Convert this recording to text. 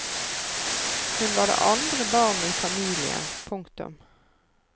Hun var det andre barnet i familien. punktum